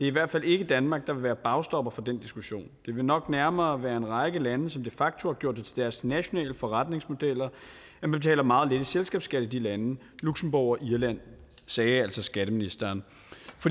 i hvert fald ikke danmark der vil være bagstopper for den diskussion det vil nok nærmere være en række lande som de facto har gjort det til deres nationale forretningsmodel at man betaler meget lidt i selskabsskat i de lande luxembourg og irland sagde altså skatteministeren